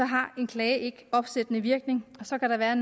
har en klage ikke opsættende virkning så kan der være